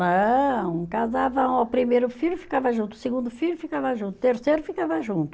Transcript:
Não, casava, o primeiro filho ficava junto, o segundo filho ficava junto, o terceiro ficava junto.